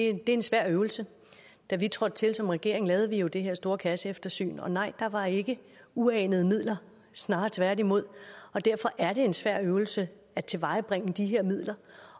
er en svær øvelse da vi trådte til som regering lavede vi jo det her store kasseeftersyn og nej der var ikke uanede midler snarere tværtimod derfor er det en svær øvelse at tilvejebringe de her midler